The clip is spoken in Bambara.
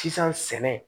Sisan sɛnɛ